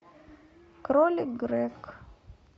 кролик грег